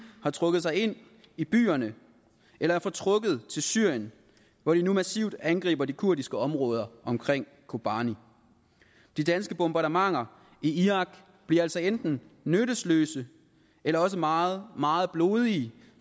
har trukket sig ind i byerne eller er fortrukket til syrien hvor de nu massivt angriber de kurdiske områder omkring kobani de danske bombardementer i irak bliver altså enten nyttesløse eller også meget meget blodige